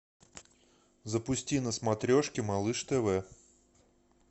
запусти на смотрешке малыш тв